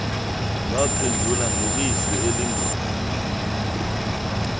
waphendula ngelizwi elindongondongo